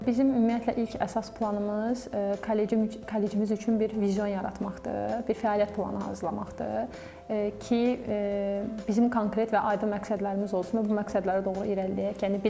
Bizim ümumiyyətlə ilk əsas planımız kollecimiz üçün bir vizyon yaratmaqdır, bir fəaliyyət planı hazırlamaqdır ki, bizim konkret və aydın məqsədlərimiz olsun və bu məqsədlərə doğru irəliləyək.